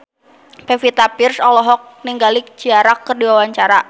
Pevita Pearce olohok ningali Ciara keur diwawancara